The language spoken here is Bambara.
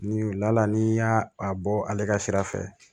Ni wula ni y'aa a bɔ ale ka sira fɛ